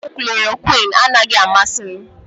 Ọgwụ chlọrọquin anaghị amasị m.